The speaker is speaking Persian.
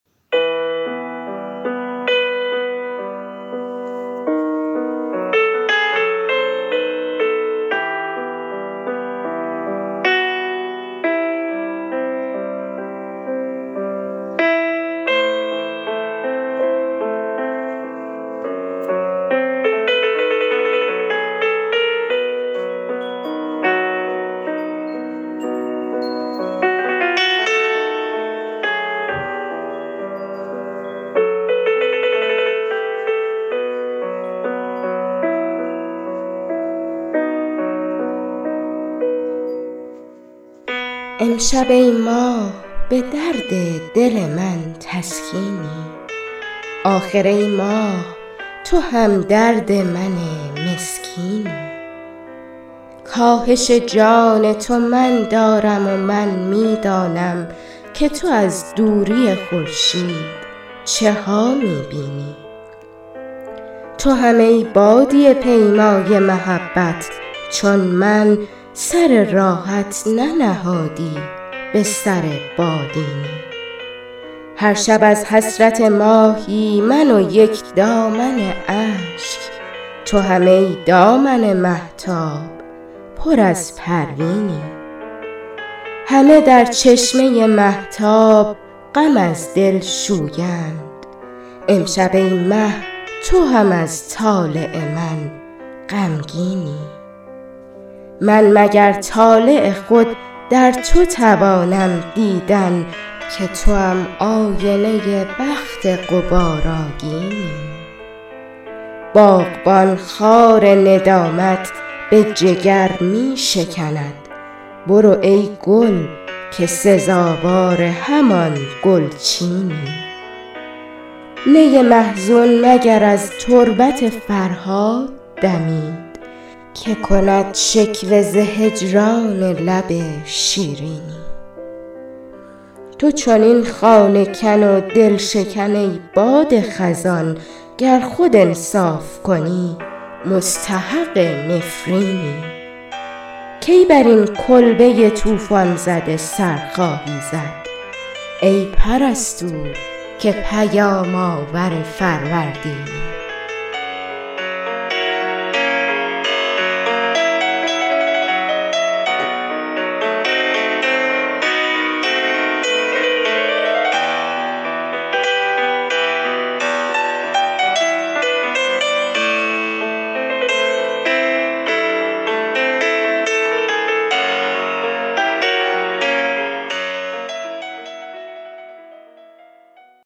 امشب ای ماه به درد دل من تسکینی آخر ای ماه تو همدرد من مسکینی کاهش جان تو من دارم و من می دانم که تو از دوری خورشید چه ها می بینی تو هم ای بادیه پیمای محبت چون من سر راحت ننهادی به سر بالینی هر شب از حسرت ماهی من و یک دامن اشک تو هم ای دامن مهتاب پر از پروینی همه در چشمه مهتاب غم از دل شویند امشب ای مه تو هم از طالع من غمگینی من مگر طالع خود در تو توانم دیدن که توام آینه بخت غبارآگینی باغبان خار ندامت به جگر می شکند برو ای گل که سزاوار همان گلچینی نی محزون مگر از تربت فرهاد دمید که کند شکوه ز هجران لب شیرینی تو چنین خانه کن و دلشکن ای باد خزان گر خود انصاف کنی مستحق نفرینی کی بر این کلبه طوفان زده سر خواهی زد ای پرستو که پیام آور فروردینی شهریارا اگر آیین محبت باشد جاودان زی که به دنیای بهشت آیینی